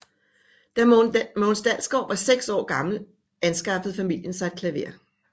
Da Mogens Dalsgaard var seks år gammel anskaffede familien sig et klaver